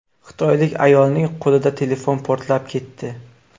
Xitoylik ayolning qo‘lida telefon portlab ketdi.